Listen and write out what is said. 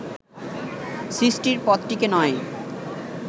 সৃষ্টির পথটিকে নয়